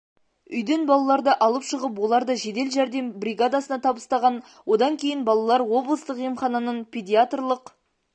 үйден балаларды алып шығып оларды жедел жәрдем бригадасына табыстаған одан кейін балалар облыстық емхананың педиатрлық